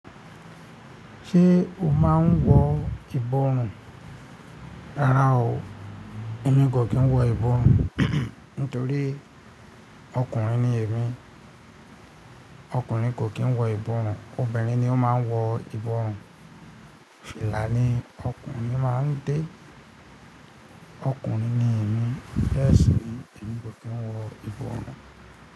Ṣé o máa ń wọ ìbọrùn? Rárá o, èmi kò kí n wọ ìbọrùn nitorí ọkùnrin ni èmi. Ọkùnrin kò kí n wọ ìbọrùn, obìnrin ni ó máa ń wọ ìbọrùn. Fìlà ni ọkùnrin máa ń dé. Ọkùnrin ni èmi, bẹ́ẹ̀ sì ni èmi kò kí n wọ ìbọrùn.